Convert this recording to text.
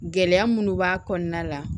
Gɛlɛya munnu b'a kɔnɔna la